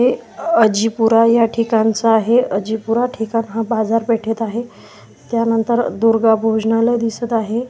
हे अजिपुरा या ठिकाणचं आहे अजिपुरा ठिकाण हा बाजारपेठेत आहे त्यानंतर दुर्गा भोजनालय दिसत आहे.